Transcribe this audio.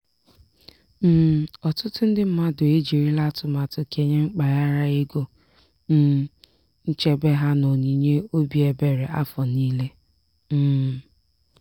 um ọtụtụ ndị mmadụ e jirila atụmatụ kenye mpaghara ego um nchebe ha n'onyinye obi ebere afọ niile. um